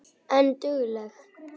En dugleg.